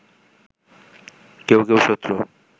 কেউ কেউ শত্রু